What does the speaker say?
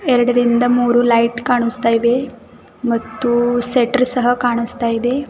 ಎರಡರಿಂದ ಮೂರು ಲೈಟ್ ಕಾಣುಸ್ತಾಯಿವೆ ಮತ್ತು ಶಟರ್ ಸಹ ಕಾಣಿಸ್ತಾಯಿದೆ.